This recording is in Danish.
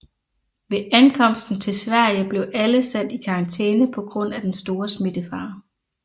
Ved ankomsten til Sverige blev alle sat i karantæne på grund af den store smittefare